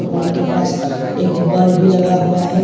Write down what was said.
Board के पास एक बल्ब भी लगा हुआ है।